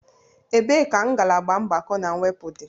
Ebee ka ngalaba mgbakọ na mwepụ dị?